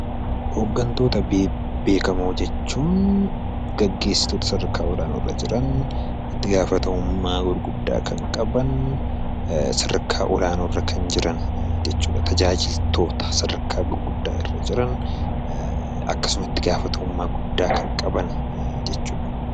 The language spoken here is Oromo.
Hoggantoota bebbeekamoo jechuun geggeessitoota sadarkaa olaanoo irra jiran, itti gaafatamummaa gurguddaa kan qaban, sadarkaa olaanoo irra kan jiran jechuu dha. Tajaajiltoota sadarkaa gurguddaa irra jiran akkasuma itti gaafatamummaa guddaa kan qaban jechuu dha.